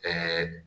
Ɛɛ